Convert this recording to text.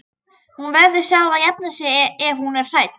Hún verður sjálf að jafna sig ef hún er hrædd.